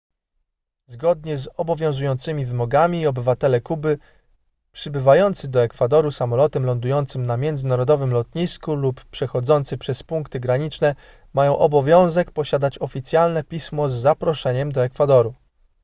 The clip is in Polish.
zgodnie z obowiązującymi wymogami obywatele kuby przybywający do ekwadoru samolotem lądującym na międzynarodowym lotnisku lub przechodzący przez punkty graniczne mają obowiązek posiadać oficjalne pismo z zaproszeniem do ekwadoru